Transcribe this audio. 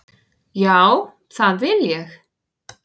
Já, það vil ég.